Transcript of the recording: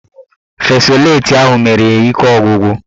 Fesoleti ahụ mere ya ike ọgwụgwụ